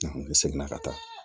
ne seginna ka taa